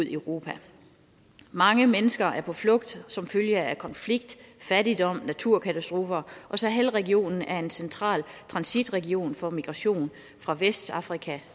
i europa mange mennesker er på flugt som følge af konflikt fattigdom og naturkatastrofer og sahel regionen er en central transitregion for migration fra vestafrika